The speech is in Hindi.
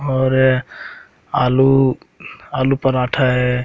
और आलू आलू पराठा है।